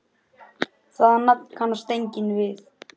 Það nafn kannast enginn við.